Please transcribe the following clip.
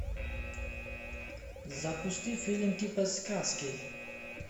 запусти фильм типа сказки